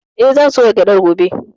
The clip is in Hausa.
Eh, zan soya gyaɗar gobe.